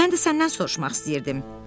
Mən də səndən soruşmaq istəyirdim.